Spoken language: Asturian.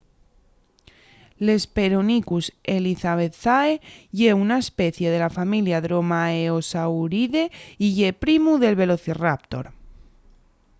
l’hesperonychus elizabethae ye una especie de la familia dromaeosauride y ye primu del velociraptor